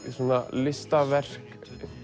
listaverk